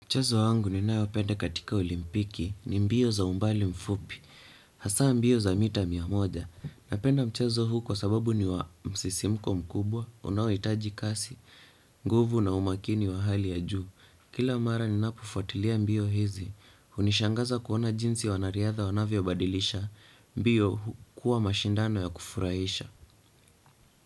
Mchezo wangu ninayopenda katika olimpiki, ni mbio za umbali mfupi, hasa mbio za mita mia moja. Napenda mchezo huu kwa sababu ni wa msisimko mkubwa, unaohitaji kasi, nguvu na umakini wa hali ya juu. Kila mara ninapofuatilia mbio hizi, unishangaza kuona jinsi wanariadha wanavyobadilisha, mbio kuwa mashindano ya kufurahisha.